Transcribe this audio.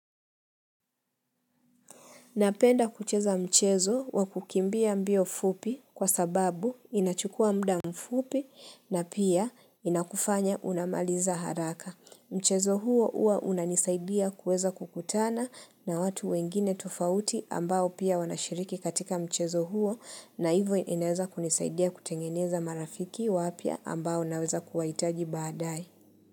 Napenda kucheza mchezo wa kukimbia mbio fupi kwa sababu inachukua muda mfupi na pia inakufanya unamaliza haraka. Mchezo huo huwa unanisaidia kuweza kukutana na watu wengine tofauti ambao pia wanashiriki katika mchezo huo na hivo inaweza kunisaidia kutengeneza marafiki wapya ambao naweza kuwahitaji baadae.